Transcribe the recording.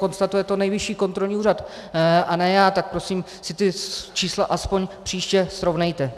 Konstatuje to Nejvyšší kontrolní úřad a ne já, tak prosím si ta čísla aspoň příště srovnejte.